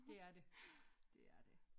Dét er det. Det er det